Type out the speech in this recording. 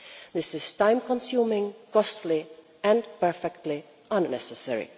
This is time consuming, costly, and perfectly unnecessary.